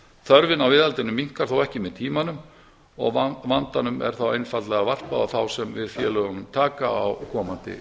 þörfin á viðhaldinu minnkar þó ekki með tímanum og vandanum er þá einfaldlega varpað á þá sem við félögunum taka á komandi